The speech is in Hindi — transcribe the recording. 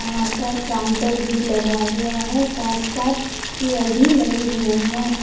यहां पर काउंटर भी लगा हुआ है साथ साथ चेयर भी लगे हुए हैं।